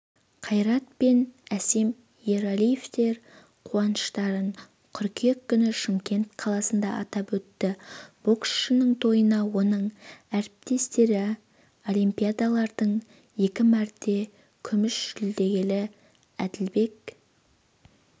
қайрат пен әсем ералиевтер қуаныштарын қыркүйек күні шымкент қаласында атап өтті боксшының тойына оның әріптестері олимпиадалардың екі мәрте күміс жүлдегері әділбек